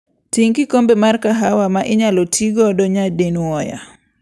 Ting' kikombe mar kahawa ma inyalo ti godo nyadinwoya.